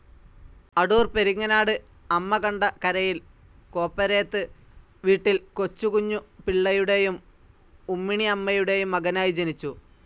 അടൂർ പെരിങ്ങനാട് അമ്മകണ്ട കരയിൽ കോപ്പരേത്ത് വീട്ടിൽ കൊച്ചുകുഞ്ഞു പിള്ളയുടെയും ഉമ്മിണിഅമ്മയുടെയും മകനായി ജനിച്ചു.